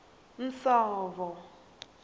nsovo